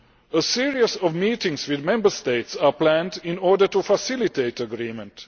A series of meetings with Member States are planned in order to facilitate agreement.